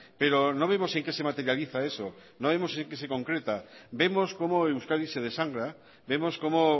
pero no vemos en qué se materializa eso no vemos en qué se concreta vemos como euskadi se desangra vemos como